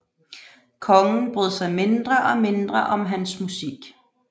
Kongen brød sig mindre og mindre om hans musik